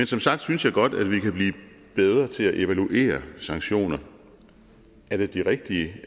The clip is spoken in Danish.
som sagt synes jeg godt at vi kan blive bedre til at evaluere sanktioner er det de rigtige